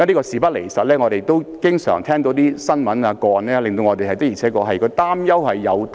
事不離實，我們經常聽到一些新聞或個案，證明我們的擔憂並非全無道理。